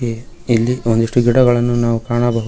ಇಲ್ಲಿ ಒಂದಿಷ್ಟು ಗಿಡಗಳನ್ನು ನಾವು ಕಾಣಬಹು--